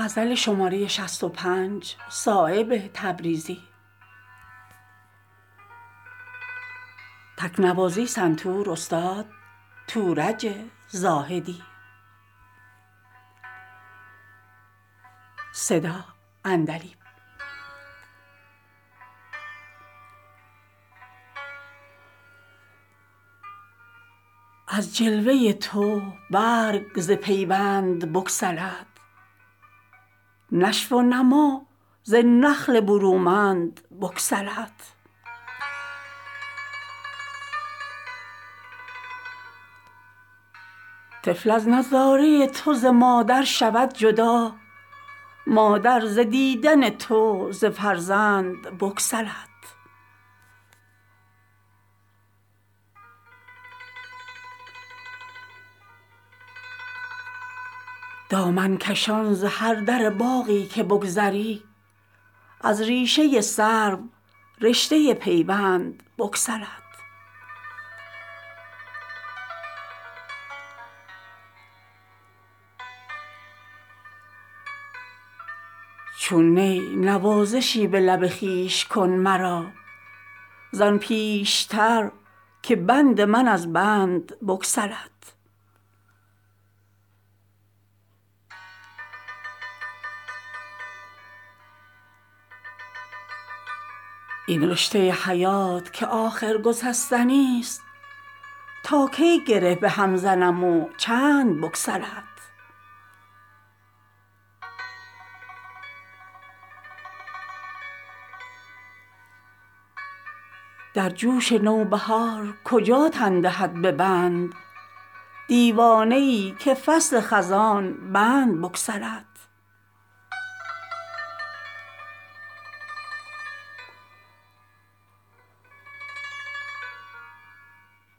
از جلوه تو برگ ز پیوند بگسلد نشو ونما ز نخل برومند بگسلد طفل از نظاره تو ز مادر شود جدا مادر ز دیدن تو ز فرزند بگسلد دامن کشان ز هر در باغی که بگذری از ریشه سرو رشته پیوندبگسلد چون نی نوازشی به لب خویش کن مرا زان پیشتر که بند من از بندبگسلد در جوش نوبهار کجا تن دهد به بند دیوانه ای که فصل خزان بندبگسلد جستن ز بند خانه تقدیر مشکل است دل چون ز زلف وکاکل دلبندبگسلد آزادگی ز شهد محال است مور را دل چون ازان لبان شکر خند بگسلد این رشته حیات که آخر گسستنی است تا کی گره به هم زنم وچند بگسلد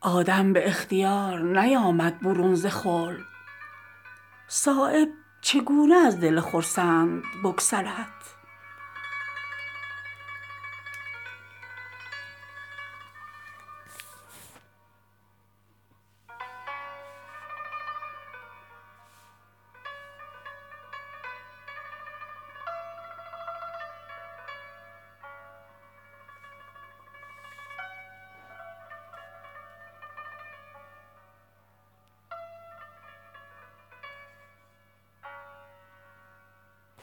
آدم به اختیار نیامد برون ز خلد صایب چگونه از دل خرسند بگسلد